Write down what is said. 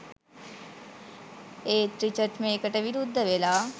ඒත් රිචඩ් මේකටවිරුද්ධ වෙලා